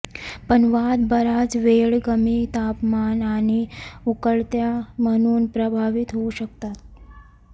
पण वाद बराच वेळ कमी तापमान आणि उकळत्या म्हणून प्रभावित होऊ शकतात